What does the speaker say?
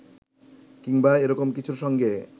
কিংবা এরকম কিছুর সঙ্গে